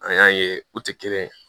An y'a ye u tɛ kelen ye